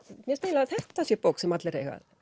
mér finnst eiginlega að þetta sé bók sem allir eiga að